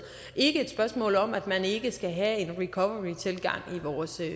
ikke et spørgsmål om at man ikke skal have en recovery tilgang